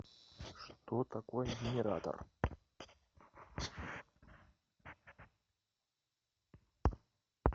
что такое генератор